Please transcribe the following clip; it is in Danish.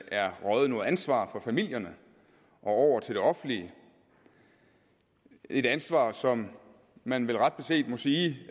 er røget noget ansvar fra familierne og over til det offentlige et ansvar som man vel ret beset må sige